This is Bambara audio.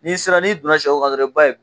N'i sera n'i donna sɛw kan dɔrɔn i b'a ye